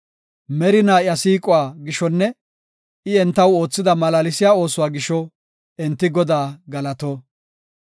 Merina iya siiquwa gishonne I entaw oothida malaalsiya oosuwa gisho enti Godaa galato.